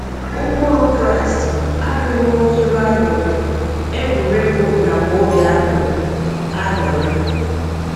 Ụkpụrụ Kraịst abughị onye iro añurị, egwuriegwu nakwa obi añurị. añurị.